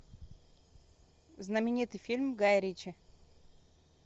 знаменитый фильм гая ричи